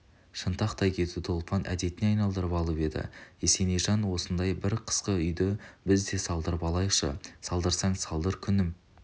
шынтақтай кетуді ұлпан әдетіне айналдырып алып еді есенейжан осындай бір қысқы үйді біз де салдырып алайықшы салдырсаң салдыр күнім